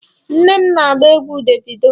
Nne m na-agba egwu Davido.